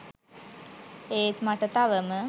ඒත් මට තවම